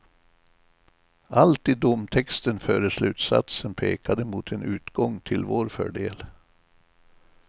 Allt i domtexten före slutsatsen pekade mot en utgång till vår fördel.